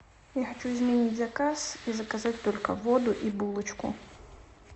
я хочу изменить заказ и заказать только воду и булочку